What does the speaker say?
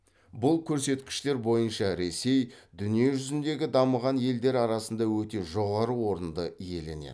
бұл көрсеткіштер бойынша ресей дүниежүзіндегі дамыған елдер арасында өте жоғары орынды иеленеді